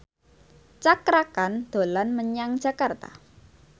Cakra Khan dolan menyang Jakarta